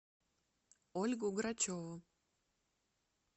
ольгу грачеву